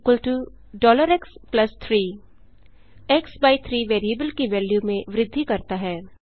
xx3 x by 3 variable की value में वृद्धि करता है